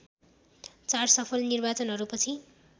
चार सफल निर्वाचनहरूपछि